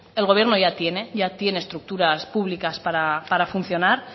el gobierno ya tiene ya tiene estructuras públicas para funcionar